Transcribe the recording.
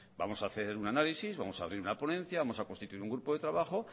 vamos ha hacer un análisis vamos a abrir una ponencia vamos a constituir un grupo de trabajo